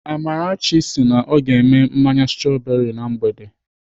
Amarachi sị na ọ ga-eme mmanya strọberị na mgbede.